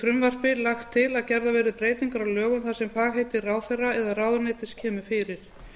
frumvarpi lagt til að gerðar verði breytingar á lögum þar sem fagheiti ráðherra eða ráðuneytis kemur fyrir